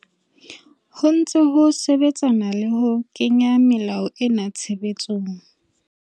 Ho ntse ho sebetsanwa le ho kenya melao ena tshebetsong.